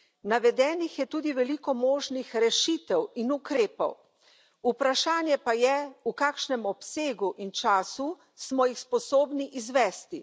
Navedenih je tudi veliko možnih rešitev in ukrepov, vprašanje pa je, v kakšnem obsegu in času smo jih sposobni izvesti.